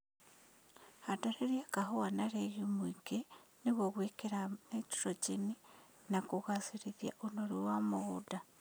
Handanĩrĩa kahũa na regiumu ingĩ nĩguo gwĩkĩra naitrogeni na kũgacĩria ũnoru wa mũgũnda